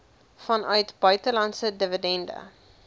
vanuit buitelandse dividende